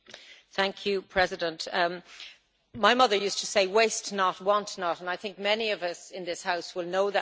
Mr President, my mother used to say Waste not, want not', and I think many of us in this House will know that phrase.